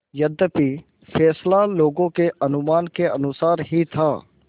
यद्यपि फैसला लोगों के अनुमान के अनुसार ही था